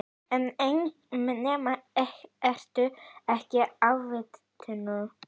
Ég meina, ertu ekki atvinnu